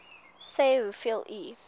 sê hoeveel u